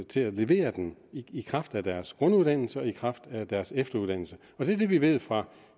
til at levere den i kraft af deres grunduddannelse og i kraft af deres efteruddannelse det er det vi ved fra